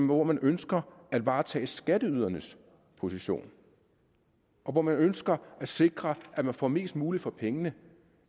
hvor man ønsker at varetage skatteydernes position og hvor man ønsker at sikre at man får mest muligt for pengene